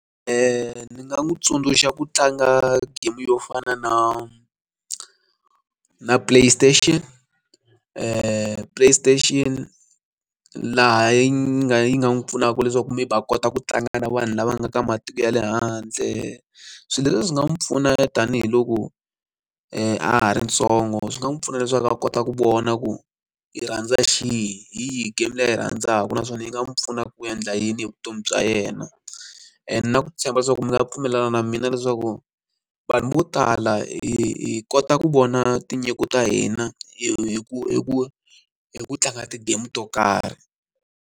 ni nga n'wi tsundzuxa ku tlanga game yo fana na na play station play station laha yi nga yi nga n'wi pfunaka leswaku maybe a kota ku tlanga na vanhu lava nga ka matiko ya le handle swilo leswi swi nga n'wi pfuna tanihiloko a ha ri ntsongo swi nga n'wi pfuna leswaku a kota ku vona ku yi rhandza xihi hi yihi game leyi a yi rhandzaka naswona yi nga n'wi pfuna ku endla yini hi vutomi bya yena na and na ku tshemba so ku mi nga pfumelana na mina leswaku vanhu vo tala hi hi kota ku vona tinyiko ta hina hi ku hi ku hi ku tlanga ti-game to karhi.